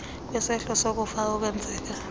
kwisehlo sokufa okwenzeka